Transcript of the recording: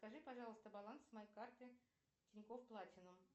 скажи пожалуйста баланс моей карты тинькофф платинум